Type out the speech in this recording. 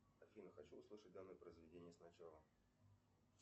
афина хочу услышать данное произведение сначала